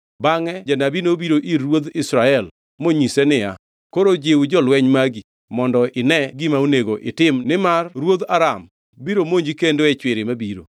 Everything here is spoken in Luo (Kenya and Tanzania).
Bangʼe janabi nobiro ir ruodh Israel monyise niya, “Koro jiw jolweny magi mondo ine gima onego itim nimar ruodh Aram biro monji kendo e chwiri mabiro.”